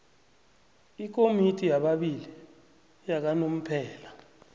ikomiti yababili yakanomphela